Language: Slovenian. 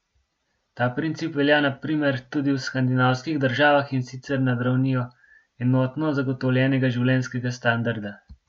Ta princip velja na primer tudi v skandinavskih državah, in sicer nad ravnijo enotno zagotovljenega življenjskega standarda.